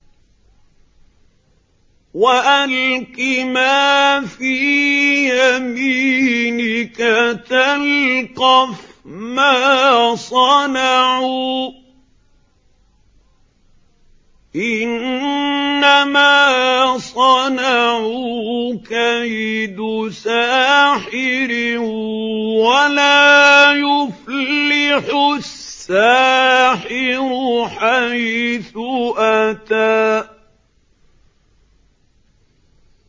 وَأَلْقِ مَا فِي يَمِينِكَ تَلْقَفْ مَا صَنَعُوا ۖ إِنَّمَا صَنَعُوا كَيْدُ سَاحِرٍ ۖ وَلَا يُفْلِحُ السَّاحِرُ حَيْثُ أَتَىٰ